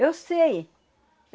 Eu sei.